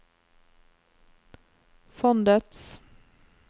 fondets